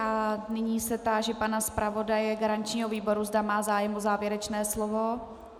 A nyní se táži pana zpravodaje garančního výboru, zda má zájem o závěrečné slovo.